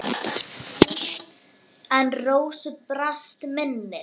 En Rósu brast minnið.